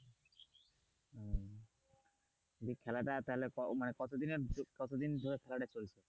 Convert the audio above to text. এই খেলাটা তাহলে মানে কতদিন এর কতদিন ধরে চলছে?